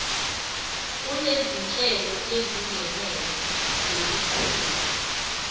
unezinhlelo ezingenele zokuqhuba